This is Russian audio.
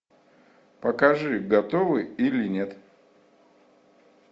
покажи готовы или нет